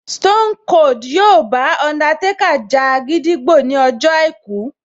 Stone Cold yóò bá Undertaker ja gídígbò ní ọjọ́ àìkú